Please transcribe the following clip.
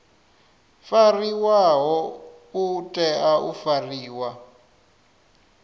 fariwaho u tea u fariwa